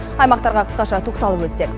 аймақтарға қысқаша тоқталып өтсек